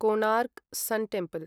Konark sun temple